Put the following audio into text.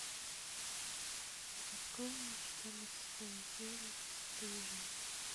открой мне четырнадцатую серию бесстыжие